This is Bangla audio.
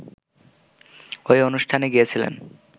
ওই অনুষ্ঠানে গিয়েছিলেন